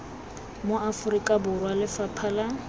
mo aforika borwa lefapha la